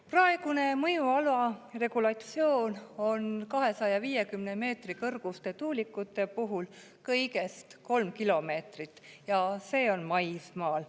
Praegune mõjuala regulatsioon on 250 meetri kõrguste tuulikute puhul kõigest 3 kilomeetrit ja see on maismaal.